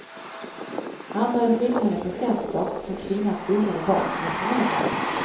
Han började skicka henne presenter som kvinnan omedelbart returnerade.